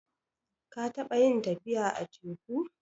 Ka taɓa yin tafiya a teku?